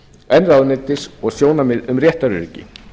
en ráðuneytis og sjónarmið um réttaröryggi